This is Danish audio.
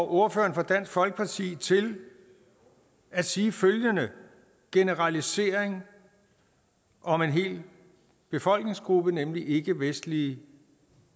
ordføreren for dansk folkeparti til at sige følgende generalisering om en hel befolkningsgruppe nemlig ikkevestlige